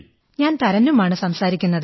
ഞാൻ തരന്നും ആണ് സംസാരിക്കുന്നത്